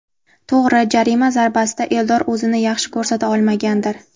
To‘g‘ri, jarima zarbasida Eldor o‘zini yaxshi ko‘rsata olmagandir.